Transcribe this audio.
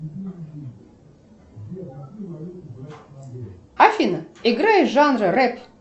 афина играй жанр рэп